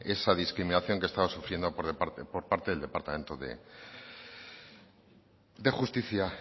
esa discriminación que estaba sufriendo por parte del departamento de justicia